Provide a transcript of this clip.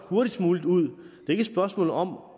hurtigst muligt ud det et spørgsmål om